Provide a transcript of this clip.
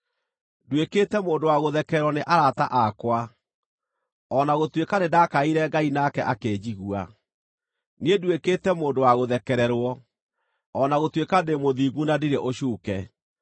“Nduĩkĩte mũndũ wa gũthekererwo nĩ arata akwa, o na gũtuĩka nĩndakaĩire Ngai nake akĩnjigua: niĩ nduĩkĩte mũndũ wa gũthekererwo, o na gũtuĩka ndĩ mũthingu na ndirĩ ũcuuke!